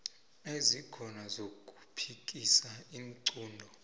ezikhona zokuphikisa iinqunto